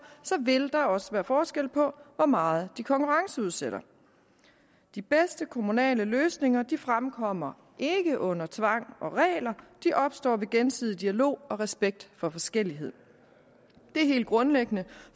vil der også være forskel på hvor meget de konkurrenceudsætter de bedste kommunale løsninger fremkommer ikke under tvang og regler de opstår ved gensidig dialog og respekt for forskellighed det er helt grundlæggende